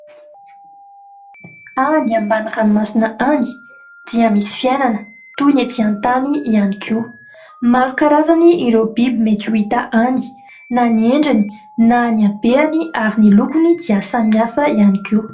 Any ambany ranomasina any, dia misy fiainana toy ny ety an-tany ihany koa, maro karazana ireo biby mety ho hita any na ny endriny na ny habehany ary ny lokony dia samy hafa ihany koa.